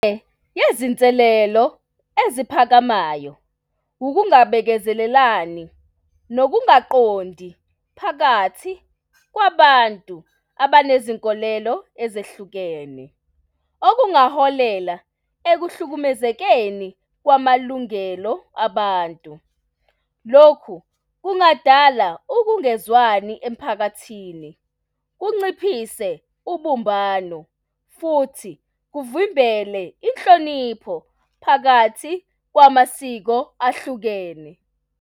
Nezinselelo ezisiphakamelayo, ukungibekezelelani nokungaqondi phakathi kwabantu abanezinkolelo ezehlukene, okungaholela ekuhlukumezekeni kwamalungelo abantu. Lokhu kungadala ukungezwani emphakathini kunciphise ubumbano futhi kuvimbele inhlonipho phakathi kwamasiko ahlukene.